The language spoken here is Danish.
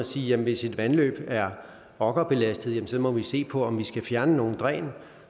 sige at hvis et vandløb er okkerbelastet må vi se på om vi skal fjerne nogle dræn